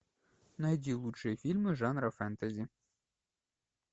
найди лучшие фильмы жанра фэнтези